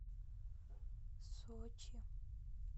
сочи